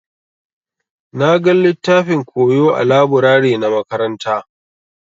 Na gan littafin koyo ã laburare na makaranta.